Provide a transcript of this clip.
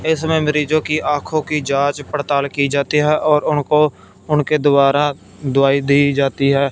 इसमें मरीजों की आंखों की जांच पड़ताल की जाती है और उनको उनके द्वारा दवाई दी जाती है।